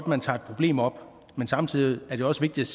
man tager et problem op men samtidig er det også vigtigt